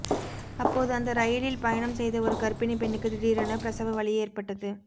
அப்போது அந்த ரயிலில் பயணம் செய்த ஒரு கர்ப்பிணி பெண்ணுக்கு திடீரென பிரசவ வலி ஏற்பட்டது